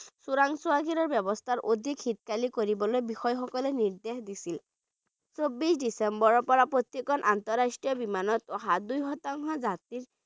চোৰাংচোৱাগিৰি ব্যৱস্থাৰ অধিক শক্তিশালী কৰিবলৈ বিষয়াসকলে নিৰ্দেশ দিছিল চৌবিছ ডিচেম্বৰ পৰা প্ৰতিজন আন্তঃৰাষ্ট্ৰীয় বিমানত অহা দুই শতাংশ যাত্ৰী